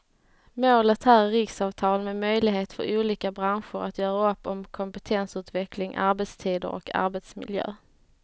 Målet här är riksavtal med möjlighet för olika branscher att göra upp om kompetensutveckling, arbetstider och arbetsmiljö.